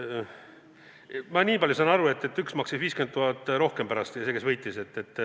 Ma nii palju sain aru, et üks maksis 50 000 rohkem ja võitis.